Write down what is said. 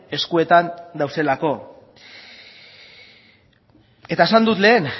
eskuetan daudelako eta esan dut lehen